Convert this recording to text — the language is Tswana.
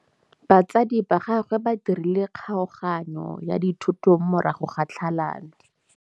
Batsadi ba gagwe ba dirile kgaoganyô ya dithoto morago ga tlhalanô.